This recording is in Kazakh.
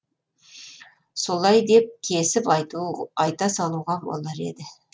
солай деп кесіп айта салуға болар еді